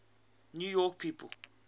new york people